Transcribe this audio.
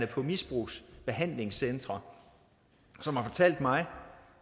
på misbrugsbehandlingscentre som har fortalt mig